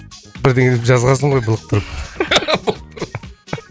бірдеңе деп жазғансың ғой былықтырып